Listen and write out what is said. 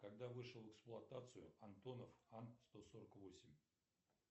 когда вышел в эксплуатацию антонов ан сто сорок восемь